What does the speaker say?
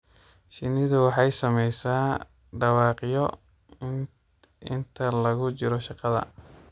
Shinnidu waxay samaysaa dhawaaqyo inta lagu jiro shaqada.